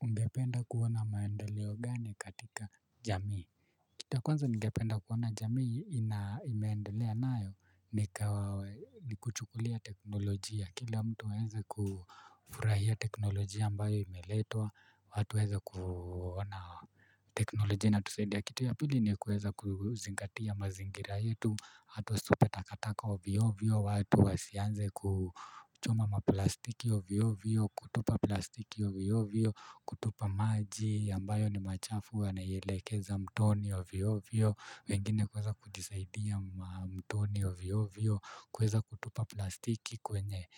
Ungependa kuona maendeleo gani katika jamii. Kitu ya kwanza nigependa kuona jamii ime endelea nayo ni ni kuchukulia teknolojia kila mtu aweze kufurahia teknolojia ambayo imeletwa watu waweze kuona teknolojia inatusaidia kitu ya pili ni kuweza kuzingatia mazingira yetu watu wasitupe takataka ovyo ovyo, watu wasianze kuchoma maplastiki ovyo ovyo, kutupa plastiki ovyo ovyo kutupa maji ambayo ni machafu wanaielekeza mtoni ovyo ovyo. Wengine kuweza kujisaidia mtoni ovyo ovyo, kweza kutupa plastiki kwenye